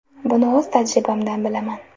Buni o‘z tajribamdan bilaman.